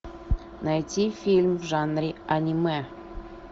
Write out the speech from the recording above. найти фильм в жанре аниме